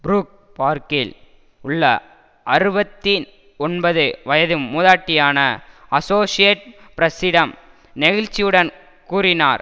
Brook பார்க்கில் உள்ள அறுபத்தி ஒன்பது வயது மூதாட்டியான அசோசியேட் பிரஸ்ஸிடம் நெகிழ்ச்சியுடன் கூறினார்